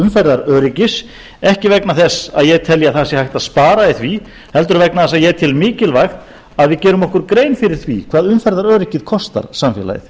umferðaröryggis ekki vegna þess að ég telji að það sé hægt að spara í því heldur vegna þess að ég tel mikilvægt að við gerum okkur grein fyrir því hvað umferðaröryggið kostar samfélagið